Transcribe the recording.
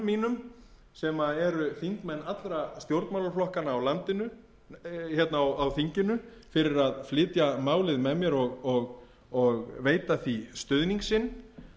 mínum sem eru þingmenn allra stjórnmálaflokkanna á þinginu fyrir að flytja málið með mér og veita því stuðning sinn